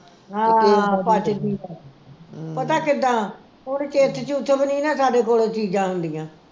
ਹਾਂ ਪੱਚਦੀ ਪਤਾ ਕਿੱਦਾਂ ਹੁਣ ਚਿੱਥ ਚੁਥ ਵੀ ਨੀ ਨਾ ਸਾਡੇ ਕੋਲੋ ਚੀਜਾਂ ਹੁੰਜੀਆਂ